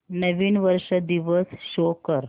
नवीन वर्ष दिवस शो कर